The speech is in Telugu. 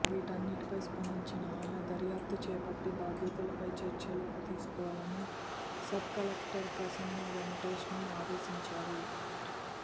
వీటన్నింటిపై స్పందించిన ఆమె దర్యాప్తు చేపట్టి బాధ్యులపై చర్యలు తీసుకోవాలని సబ్కలెక్టర్ ప్రసన్న వెంకటేష్ను ఆదేశించారు